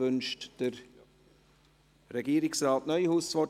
Wünscht Regierungsrat Neuhaus das Wort?